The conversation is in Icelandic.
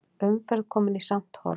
Umferð komin í samt horf